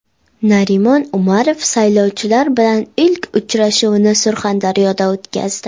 Narimon Umarov saylovchilar bilan ilk uchrashuvini Surxondaryoda o‘tkazdi.